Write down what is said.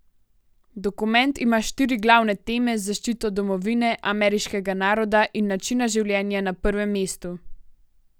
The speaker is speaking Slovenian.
Dokument ima štiri glavne teme z zaščito domovine, ameriškega naroda in načina življenja na prvem mestu.